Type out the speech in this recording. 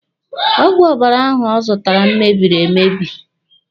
Ọgwụ ọbara ahụ ọ zụtara m mebiri emebi.